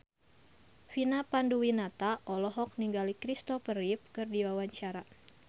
Vina Panduwinata olohok ningali Christopher Reeve keur diwawancara